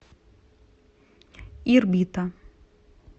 ирбита